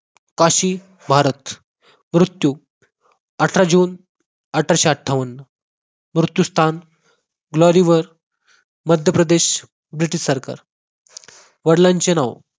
काशी भारत मृत्यू अठरा जून अठराशे अठ्ठावन्न मृत्यू स्थान ग्लोरीबाग मध्य प्रदेश ब्रिटिश सरकार वडिलांचे नाव